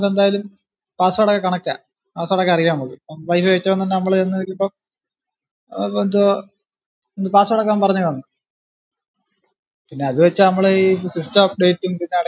എന്തായാലും password ആയിട്ട് connect ആ password ഒക്കെ അറിയാൻപറ്റും mobile വെച് നമ്മ്ൾ ഒന്ന് ഒരിപ്പ ഏർ എന്തോ password ഒക്കെ അവൻ പറഞ്ഞ് കാണും പിന്ന അതു വെച്ചാ നമ്മള് ഈ system update ഉം പിന്നാ